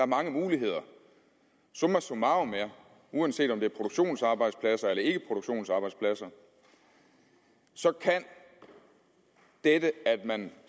mange muligheder summa summarum er at uanset om det er produktionsarbejdspladser eller ikke produktionsarbejdspladser kan dette at man